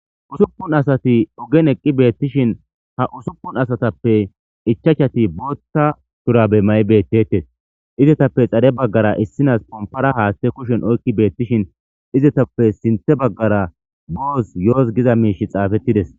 Ussupun asat ogen eqid betishn ha usupun asatappe 5ti Botha shurabe may betetes. Izetappe xade bagara issines compare hathe kushen oyk betishe istappe sinthe bagara boss yoss giza mishy xfetides.